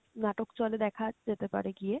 নাটক চলে দেখার যেতে পারে গিয়ে।